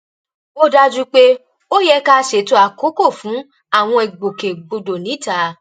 ó dájú pé ó yẹ ká ṣètò àkókò fún àwọn ìgbòkègbodò níta